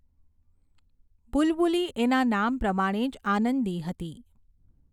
બુલબુલી એના નામ પ્રમાણે જ આનંદી હતી.